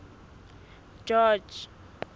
george